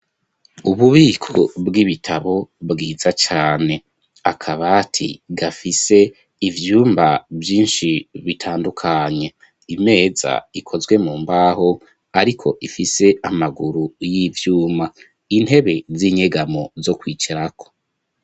Ububiko bw'ibitabo bwiza cane akabati gafise ivyumba vyinshi bitandukanye imeza ikozwe mu mbaho ariko ifise amaguru y'ivyuma intebe z'inyegamo zo kwicarako.